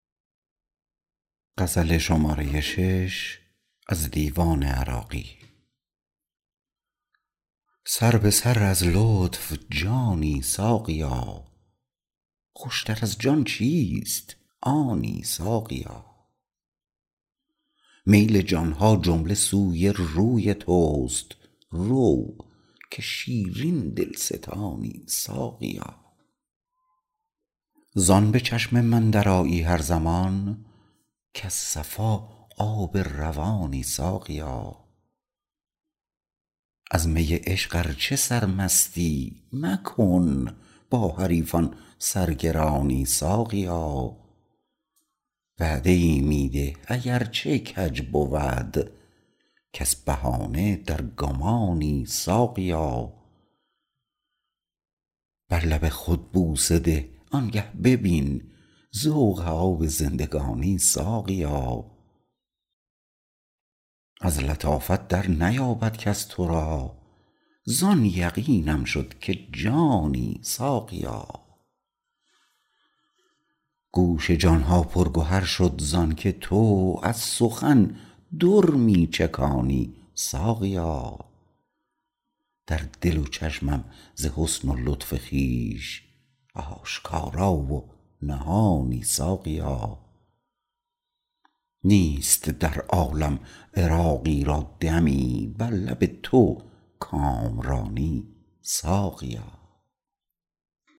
سر به سر از لطف جانی ساقیا خوشتر از جان چیست آنی ساقیا میل جان ها جمله سوی روی توست رو که شیرین دلستانی ساقیا زان به چشم من درآیی هر زمان کز صفا آب روانی ساقیا از می عشق ار چه سرمستی مکن با حریفان سرگرانی ساقیا وعده ای می ده اگر چه کج بود کز بهانه در گمانی ساقیا بر لب خود بوسه ده آنگه ببین ذوق آب زندگانی ساقیا از لطافت در نیابد کس تو را زان یقینم شد که جانی ساقیا گوش جان ها پر گهر شد زانکه تو از سخن در می چکانی ساقیا در دل و چشمم ز حسن و لطف خویش آشکارا و نهانی ساقیا نیست در عالم عراقی را دمی بر لب تو کامرانی ساقیا